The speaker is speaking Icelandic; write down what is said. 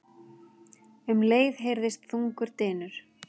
Um leið heyrðist þungur dynur.